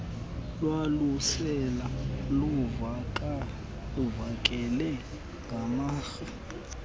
lwalusele luvakele ngamarhe